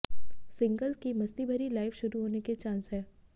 single की मस्ती भरी लाइफ शुरू होने के चांस हैं